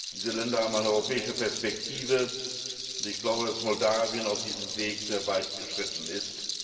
Diese Länder haben eine europäische Perspektive. Und ich glaube, dass Moldawien auf diesem Weg sehr weit geschritten ist.